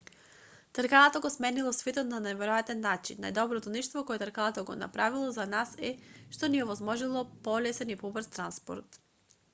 тркалото го сменило светот на неверојатен нaчин. најдоброто нешто кое тркалото го направило за нас е што ни овозможило полесен и побрз транспорт